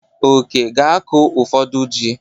Oke ga-akụ ụfọdụ ji.